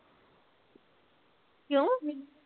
ਕਿਓ